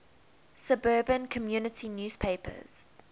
suburban community newspapers